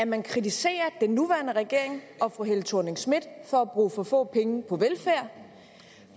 man kritiserer den nuværende regering og fru helle thorning schmidt for at bruge for få penge på velfærd